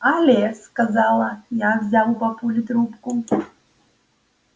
але сказала я взяв у папульки трубку